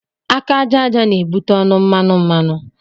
Aka aja aja n'ebute ọnụ mmanụ mmanụ